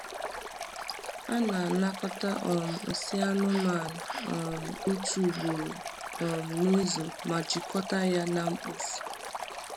A na-anakọta um nsị anụmanụ um otu ugboro um n’izu ma jikọta ya na mkpofu.